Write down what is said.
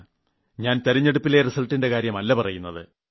ഞാൻ തിരഞ്ഞെടുപ്പിലെ റിസൾട്ടിന്റെ കാര്യമല്ല പറയുന്നത്